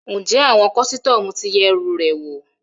Ǹjẹ́ àwọn kọ́sítọ́mù ti yẹ ẹrù rẹ wò?